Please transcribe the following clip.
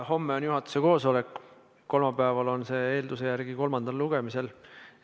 Homme on juhatuse koosolek, kolmapäeval on see eelnõu eelduse järgi kolmandal lugemisel.